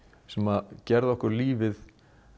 sem gerði okkur lifið